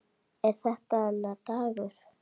Er þetta hennar dagur?